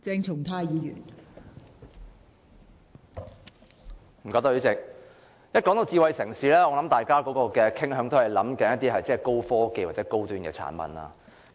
代理主席，談到智慧城市，相信大家都傾向想到高科技或高端產品。